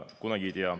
Kunagi ei tea.